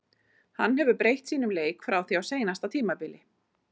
Hann hefur breytt sínum leik frá því á seinasta tímabili.